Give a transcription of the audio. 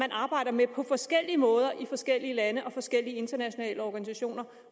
arbejder man på forskellige måder i forskellige lande og forskellige internationale organisationer